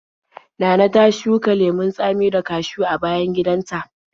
Nana ta shuka lemon tsami da kashiw a bayan gidanta.